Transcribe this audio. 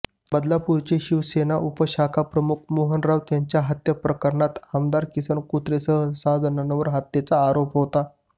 बदलापूरचे शिवसेना उपशाखाप्रमुख मोहन राऊत यांच्या हत्येप्रकरणात आमदार किसन कथोरेंसह सहा जणांवर हत्येचा आरोप होता